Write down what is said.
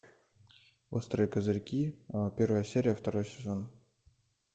острые козырьки первая серия второй сезон